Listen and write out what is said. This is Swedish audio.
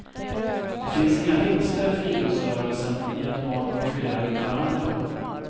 Det finns inga vinster för idrottsrörelsen i att barn konkurrerar ut varandra.